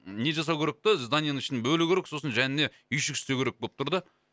не жасау керек та зданиенің ішін бөлу керек сосын жанына үйшік істеу керек болып тұр да